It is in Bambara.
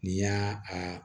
N'i y'a a